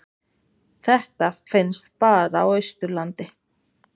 Þetta finnst bara á Austurlandi.